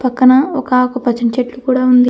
పక్కన ఒక ఆకుపచ్చని చెట్టు కూడా ఉంది.